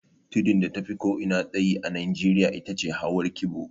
Tudun da tafi ko'ina tsayi a Nijeriya ita ce hawar kibo